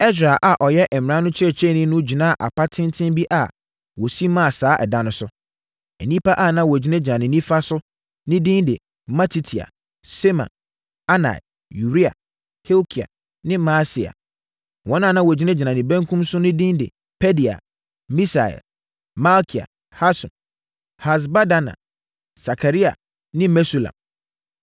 Ɛsra a ɔyɛ mmara no kyerɛkyerɛni no gyinaa apa tenten bi a wɔsi maa saa da no so. Nnipa a na wɔgyinagyina ne nifa so no no din de Matitia, Sema, Anaia, Uria, Hilkia ne Maaseia. Wɔn a na wɔgyinagyina ne benkum so no no din de Pedaia, Misael, Malkia, Hasum, Hasbadana, Sakaria ne Mesulam.